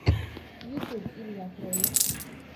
ютюб илья кролик